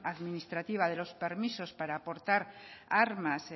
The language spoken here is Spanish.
administrativa de los permisos para portar armas